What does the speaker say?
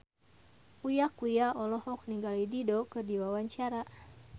Uya Kuya olohok ningali Dido keur diwawancara